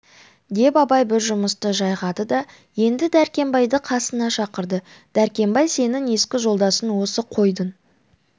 деп абай бір жұмысты жайғады да енді дәркембайды қасына шақырды дәркембай сенің екі жолдасың осы қойдың